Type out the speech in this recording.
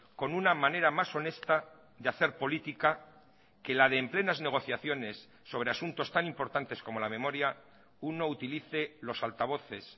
con una manera más honesta de hacer política que la de en plenas negociaciones sobre asuntos tan importantes como la memoria uno utilice los altavoces